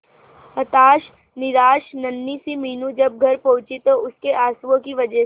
हताश निराश नन्ही सी मीनू जब घर पहुंची तो उसके आंसुओं की वजह से